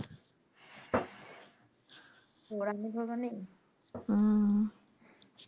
ওড়াননি ধরবার নেই হুম